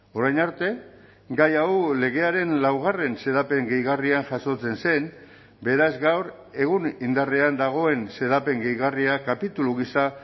orain arte gai hau legearen laugarren xedapen gehigarrian jasotzen zen beraz gaur egun indarrean dagoen xedapen gehigarria kapitulu gisa